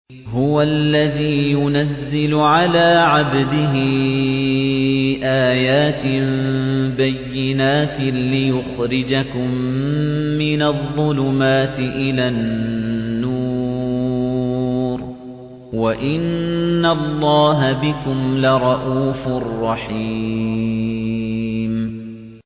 هُوَ الَّذِي يُنَزِّلُ عَلَىٰ عَبْدِهِ آيَاتٍ بَيِّنَاتٍ لِّيُخْرِجَكُم مِّنَ الظُّلُمَاتِ إِلَى النُّورِ ۚ وَإِنَّ اللَّهَ بِكُمْ لَرَءُوفٌ رَّحِيمٌ